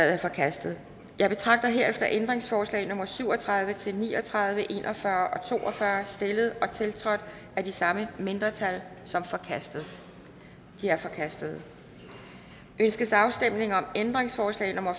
er forkastet jeg betragter herefter ændringsforslag nummer syv og tredive til ni og tredive en og fyrre og to og fyrre stillet og tiltrådt af de samme mindretal som er forkastet de er forkastet ønskes afstemning om ændringsforslag nummer